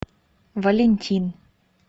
валентин